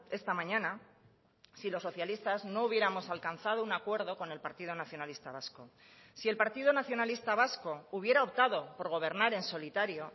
esta mañana si los socialistas no hubiéramos alcanzado un acuerdo con el partido nacionalista vasco si el partido nacionalista vasco hubiera optado por gobernar en solitario